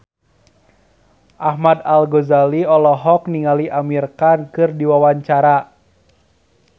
Ahmad Al-Ghazali olohok ningali Amir Khan keur diwawancara